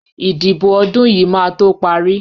ìdìbò ọdún yìí máa to parí.